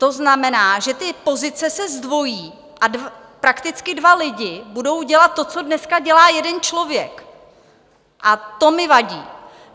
To znamená, že ty pozice se zdvojí a prakticky dva lidi budou dělat to, co dneska dělá jeden člověk, a to mi vadí.